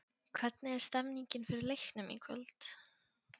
Hvernig er stemningin fyrir leiknum í kvöld?